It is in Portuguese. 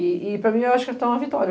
E para mim, eu acho que tá uma vitória.